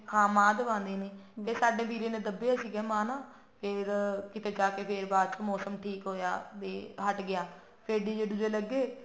ਹਾਂ ਮਾਂਹ ਦਬਾਉਂਦੇ ਨੇ ਸਾਡੇ ਵੀਰੇ ਨੇ ਦੱਬੇ ਸੀਗੇ ਨਾ ਮਾਂਹ ਫੇਰ ਕਿਤੇ ਜਾ ਕੇ ਫੇਰ ਬਾਅਦ ਚੋ ਮੋਸਮ ਠੀਕ ਹੋਇਆ ਵੀ ਹਟ ਗਿਆ ਫੇਰ DJ ਡੁਜੇ ਲੱਗੇ